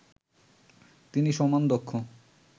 তিনি সমান দক্ষ